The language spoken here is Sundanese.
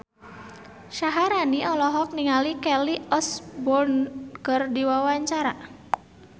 Syaharani olohok ningali Kelly Osbourne keur diwawancara